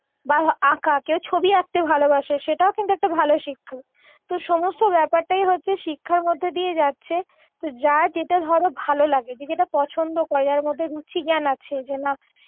বা আঁকা কেউ ছবি আকতেঁ ভালবাসে সেটাও কিন্তু একটা ভালো শিক্ষা তো সমস্ত ব্যাপারটাই হচ্ছে শিক্ষার মধ্যে দিয়ে যাচ্ছে যার যেটা ধরো ভালো লাগে যে যেটা পছন্দ করে যার মধ্যে রুচিজ্ঞান আছে যে না